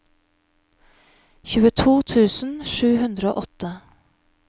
tjueto tusen sju hundre og åtte